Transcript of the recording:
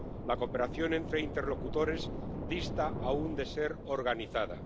embargo, la cooperación entre interlocutores dista aún de ser organizada.